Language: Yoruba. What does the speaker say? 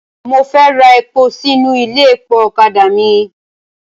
Mo fẹ́ ra epo sínú ilé epo ọ̀kadà mi.